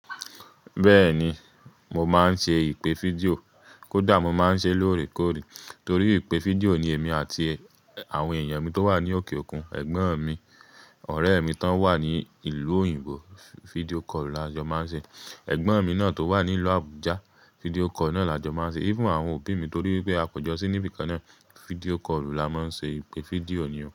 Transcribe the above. Bẹ́ẹ̀ni, mo máa ń ṣe ìpè fídíò. Kódà mo máa ń ṣe lóòrèkóòrè torí ìpè fídíò ni èmi àti àwọn èèyàn mi tó wà ní òkè òkun, ẹ̀gbọ́n mi, ọ̀rẹ́ mi tí ó wà ní ìlú òyìnbó fídíò kọ́ọ̀lú la jọ máa ń ṣe. Ẹ̀gbọ́n mi náà tó wà ní ìlú Abuja, fídíò kọ́ọ̀lú náà la jọ máa ń ṣe. Koda àwọn òbí mi torí pé a pọ̀jọ̀ sí níbi kan náà, fídíò kọ́ọ̀lú la máa ń ṣe. Ìpè fídíò ni o.